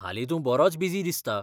हालीं तूं बरोच बिजी दिसता.